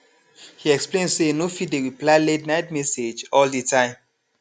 he explain say e no fit dey reply la ten ight message all the time